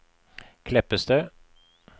Kleppestø